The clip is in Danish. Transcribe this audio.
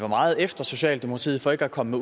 var meget efter socialdemokratiet for ikke at komme